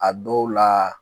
A dɔw la